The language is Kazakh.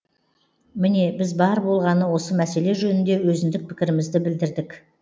міне біз бар болғаны осы мәселе жөнінде өзіндік пікірімізді білдірдік